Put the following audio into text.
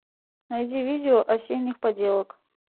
найди видео осенних поделок